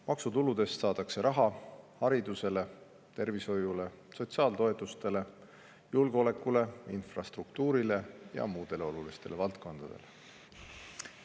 Maksutuludest saadakse raha haridusele, tervishoiule, sotsiaaltoetustele, julgeolekule, infrastruktuurile ja muudele olulistele valdkondadele.